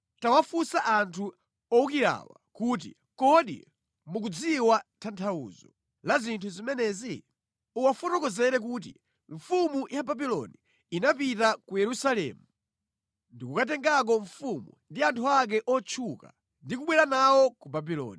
“Tawafunsa anthu owukirawa kuti, ‘kodi mukudziwa tanthauzo la zinthu zimenezi?’ Uwafotokozere kuti, ‘Mfumu ya Babuloni inapita ku Yerusalemu ndikukatengako mfumu ndi anthu ake otchuka ndi kubwera nawo ku Babuloni.